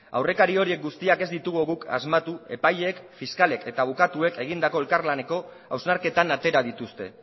aurrekari horiek guztiak ez ditugu guk asmatu epaileek fiskalek eta abokatuek egindako elkarlaneko hausnarketan atera dituzte